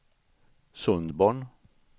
Sundborn